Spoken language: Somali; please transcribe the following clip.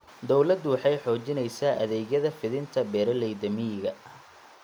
Dawladdu waxay xoojinaysaa adeegyada fidinta beeralayda miyiga.